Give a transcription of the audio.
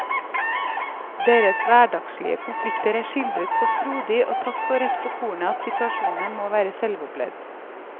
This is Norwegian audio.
Deres hverdagslige konflikter er skildret så frodig og tatt så rett på kornet at situasjonene må være selvopplevd.